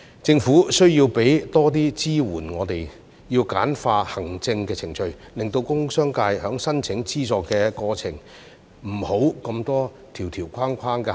政府需要為我們提供更多支援，要簡化行政程序，令工商界在申請資助的過程中，不會有這麼多條條框框的限制。